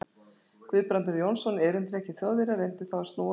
Guðbrandur Jónsson, erindreki Þjóðverja, reyndi þá að snúa á